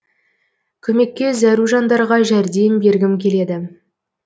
көмекке зәру жандарға жәрдем бергім келеді